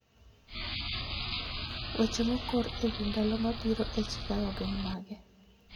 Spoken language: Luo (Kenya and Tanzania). Weche mokor e wi ndalo mabiro e chicago gin mage